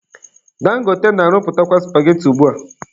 Dangote na-arụpụtakwa supageti ugbua